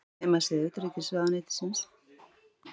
Heimasíða utanríkisráðuneytisins.